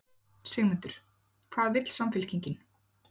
Sigmundur: Hvað vill Samfylkingin?